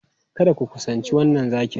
Kada ku kusanci wannan zaki!